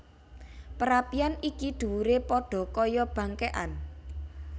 Perapian iki dhuwuré padha kaya bangkékan